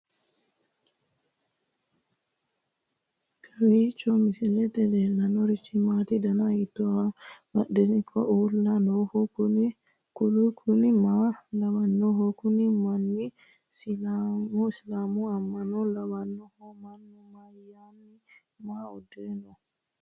kowiicho misilete leellanorichi maati ? dana hiittooho ?abadhhenni ikko uulla noohu kuulu kuni maa lawannoho? kuni manni islaamu amma'no lawannohu mannu mayinniti maa uddire nooho